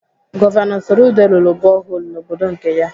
Gọvanọ Soludo rụrụ boholu n'obodo nke ya.